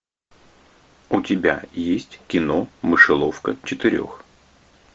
у тебя есть кино мышеловка четырех